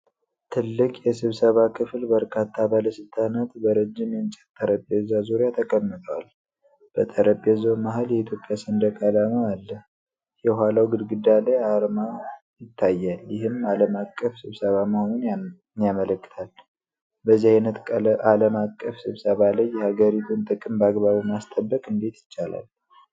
ትልቅ የስብሰባ ክፍል በርካታ ባለስልጣናት በረጅም የእንጨት ጠረጴዛ ዙሪያ ተቀምጠዋል። በጠረጴዛው መሃል የኢትዮጵያ ሰንደቅ ዓላማ አለ። የኋላው ግድግዳ ላይ አርማ ይታያል፤ ይህም ዓለም አቀፍ ስብሰባ መሆኑን ያመለክታል። በዚህ አይነት ዓለም አቀፍ ስብሰባ ላይ የሀገሪቱን ጥቅም በአግባቡ ማስጠበቅ እንዴት ይቻላል?